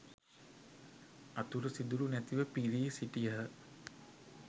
අතුරු සිදුරු නැතිව පිරී සිටියහ.